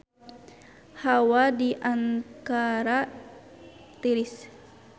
Hawa di Ankara tiris